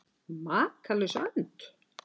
Makalaus önd?